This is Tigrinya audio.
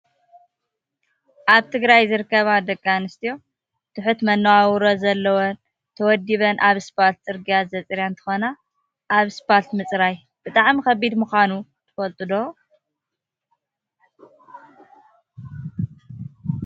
ኣብ ትግራይ ዝርከባ ደቂ ኣንስትዮ ትሑት መናባብሮ ዘለወን ተወዲበን ኣብ እስፖልት /ፅርግያ/ ዘፅርያ እንትኮና፣ ኣብ እስፖልት ምፅራይ ብጣዕሚ ከቢድ ምኳኑ ትፈልጡ ዶ?